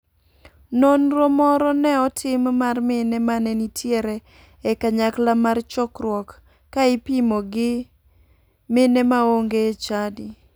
Nonro moro ne otim mar mine mane nitiere e kanyakla mar chokruok ka ipimo gi mine maonge e chadi.